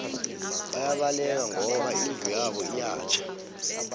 bayabaleka ngoba indlu yabo iyatjha